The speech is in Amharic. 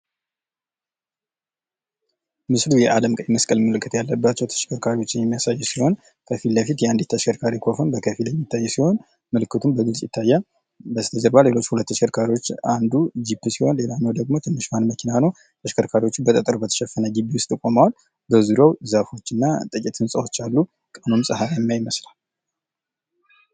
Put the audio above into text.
ምስሉ የአለም ቀይ መስቀል ምልክት ያለባቸዉ ተሽከርካሪዎችን የሚያሳይ ሲሆን ከፊት ለፊት የአንዲት ተሽከርካሪ ኮፈን በከፊል የሚታይ ሲሆን ምልክቱም በግልፅ ይታያል። በስተጀርባ ሌሎች ሁለት ተሽከርካሪዎች አንዱ ጅፕ ሲሆን ሌላኛዋ ደግሞ ትንሿን መኪና ነዉ። ተሽከርካሪዎችም በጠጠር በተሸፈነ ግቢ ዉስጥ ቆመዉ በዙሪያዉ ዛፎች እና ጥቂት ህንፃዎች አሉ። ቀኑም ፀለያማ ይመስላል።